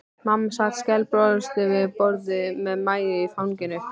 Mamma sat skælbrosandi við borðið með Maju í fanginu.